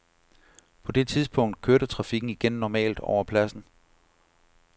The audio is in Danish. På det tidspunkt kørte trafikken igen normalt over pladsen.